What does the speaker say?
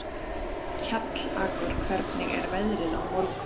Kjallakur, hvernig er veðrið á morgun?